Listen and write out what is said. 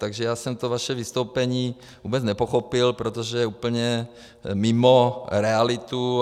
Takže já jsem to vaše vystoupení vůbec nepochopil, protože je úplně mimo realitu.